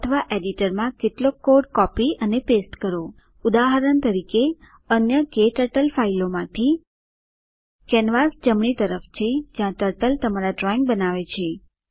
અથવા એડિટરમાં કેટલોક કોડ કોપી પેસ્ટ કરો ઉદાહરણ તરીકે અન્ય ક્ટર્ટલ ફાઇલોમાંથી કેનવાસ જમણી તરફ છે જ્યાં ટર્ટલ તમારા ડ્રોઇંગ બનાવે છે